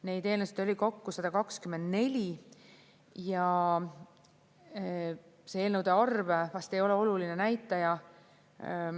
Neid eelnõusid oli kokku 124 ja see eelnõude arv vast ei ole oluline näitaja.